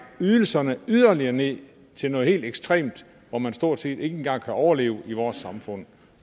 ydelserne yderligere ned til noget helt ekstremt hvor man stort set ikke engang kan overleve i vores samfund